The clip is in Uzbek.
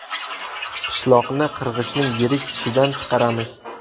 Pishloqni qirg‘ichning yirik tishidan chiqaramiz.